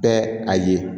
Bɛɛ a ye